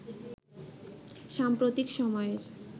সাম্প্রতিক সময়ের